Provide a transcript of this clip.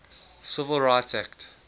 civil rights act